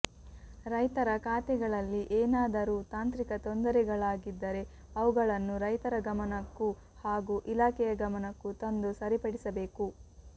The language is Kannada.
ರೈತರ ಖಾತೆಗಳಲ್ಲಿ ಏನಾದರೂ ತಾಂತ್ರಿಕ ತೊಂದರೆಗಳಾಗಿದ್ದರೆ ಅವುಗಳನ್ನು ರೈತರ ಗಮನಕ್ಕೂ ಹಾಗೂ ಇಲಾಖೆಯ ಗಮನಕ್ಕೂ ತಂದು ಸರಿಪಡಿಸಬೇಕು